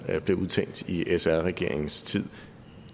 blev udtænkt i sr regeringens tid